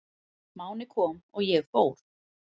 Máni kom og ég fór.